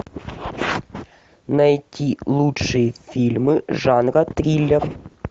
найти лучшие фильмы жанра триллер